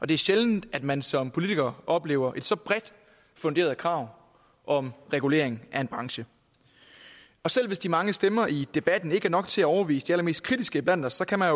det er sjældent at man som politiker oplever et så bredt funderet krav om regulering af en branche selv hvis de mange stemmer i debatten ikke er nok til at overbevise de allermest kritiske iblandt os kan man